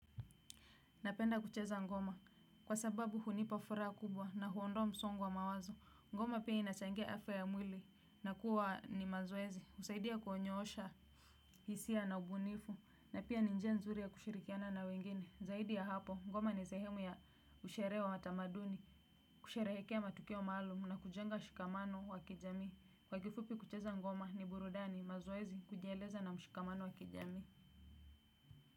Napenda kucheza ngoma kwa sababu hunipa fura kubwa na huondowa msongo wa mawazo. Ngoma pia inachangia afia ya mwili na kuwa ni mazowezi. Usaidia kuhonyo osha hisia na ubunifu na pia ninjia nzuri ya kushirikiana na wengine. Zaidi ya hapo ngoma ni zehemu ya ushere wa matamaduni, kusherehekea matukio wa malum na kujenga shikamano wa kijami. Kwa kifupi kucheza ngoma ni burudani mazowezi kujieleza na mshikamano wa kijami.